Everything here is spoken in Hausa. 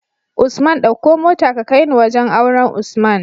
Usman ɗauko mota ka kaini wajan auren usman